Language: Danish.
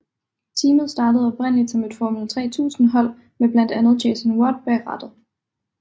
Teamet startede oprindeligt som et Formel 3000 hold med blandt andre Jason Watt bag rattet